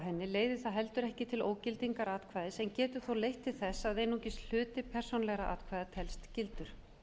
henni leiðir það heldur ekki til ógildar atkvæðis en getur þó leitt til þess að einungis hluti persónulegra atkvæða telst gildur